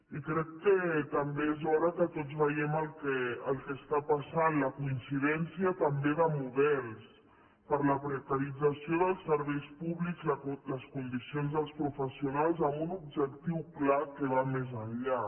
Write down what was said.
i crec que també és hora que tots vegem el que està passant la coincidència també de models per la precarització dels serveis públics les condicions dels professionals amb un objectiu clar que va més enllà